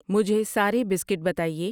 مجھے سارے بسکٹ بتائیے